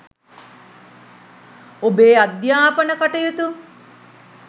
ඔබේ අධ්‍යාපන කටයුතු